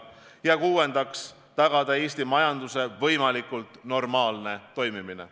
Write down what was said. Ja kuuendaks, tagada Eesti majanduse võimalikult normaalne toimimine.